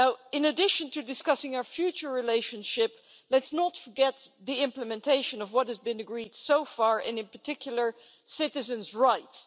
In addition to discussing our future relationship, let's not forget the implementation of what has been agreed so far and in particular citizens' rights.